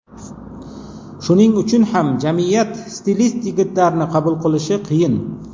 Shuning uchun ham jamiyat stilist yigitlarni qabul qilishi qiyin.